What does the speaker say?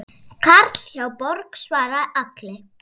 Karl hjá Borg svaraði Agli.